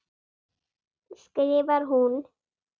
skrifar hún.